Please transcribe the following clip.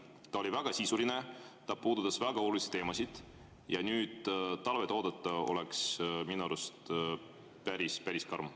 Ta oli väga sisuline, ta puudutas väga olulisi teemasid ja nüüd talve oodata oleks minu arust päris karm.